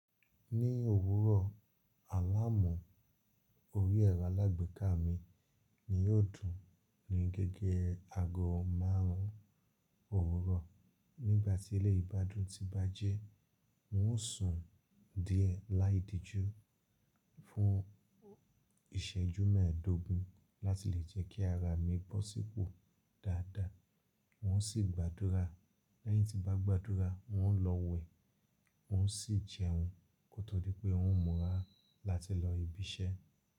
Ní òwúrọ̀ Àlàmú, orí ẹ̀rọ alágbèéká mi ni yóò dùn ní gígé aago márùn ún òwúrọ̀. Nígbà tí eléyìí bá dùn ti n bá jẹ́, n ó sùn díẹ̀ láì díjú fún ìṣẹ́jú mẹ́ẹ̀dógún láti lè jẹ́ kí ara mi bọ́ sípò dáadáa. N ó sì gbàdúrà. Lẹ́yìn tí n bá gbàdúrà, n ó lọ wẹ̀, n ó sì jẹun kó tó di pé n ó murá láti lọ ibi iṣẹ́.